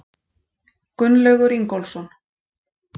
Gunnlaugur Ingólfsson.